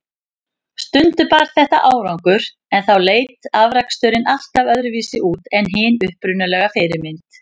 Stundum bar þetta árangur, en þá leit afraksturinn alltaf öðruvísi út en hin upprunalega fyrirmynd.